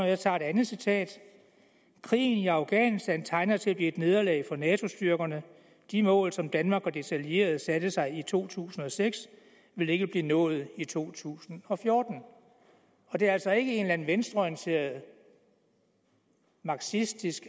jeg tager et andet citat krigen i afghanistan tegner til at blive et nederlag for nato styrkerne de mål som danmark og dets allierede satte sig i to tusind og seks vil ikke blive nået i to tusind og fjorten det er altså ikke en eller anden venstreorienteret marxistisk